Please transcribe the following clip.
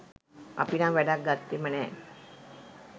අපි නම් වැඩක් ගත්තෙම නෑ.